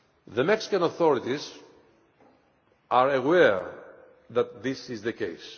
The Mexican authorities are aware that this is the case.